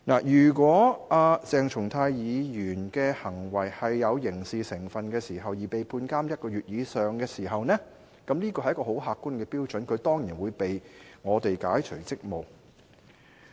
如果鄭松泰議員的行為有刑事成分而被判監禁1個月以上時，這是很客觀的標準，他當然會被我們解除職務。